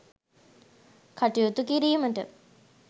කටයුතු කිරීමට